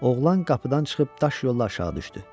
Oğlan qapıdan çıxıb daş yolla aşağı düşdü.